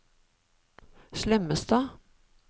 Slemmestad